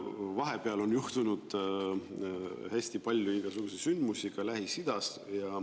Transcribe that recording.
Vahepeal on juhtunud hästi palju igasuguseid sündmusi ka Lähis-Idas.